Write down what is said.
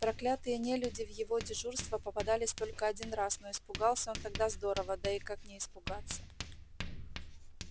проклятые нелюди в его дежурства попадались только один раз но испугался он тогда здорово да и как не испугаться